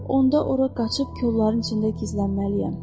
Onda ora qaçıb kolların içində gizlənməliyəm.